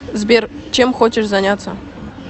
сбер чем хочешь заняться